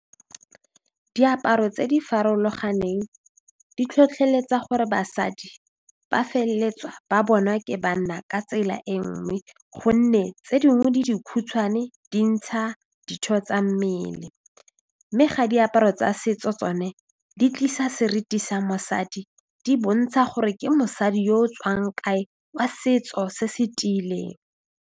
Diaparo tse di farologaneng di tlhotlheletsa gore basadi ba feleletsa ba bonwa ke banna ka tsela e nngwe gonne tse dingwe di dikhutshwane di ntsha ditho tsa mmele mme ga diaparo tsa setso tsone di tlisa seriti sa mosadi di bontsha gore ke mosadi yo o tswang kae wa setso se se tiileng.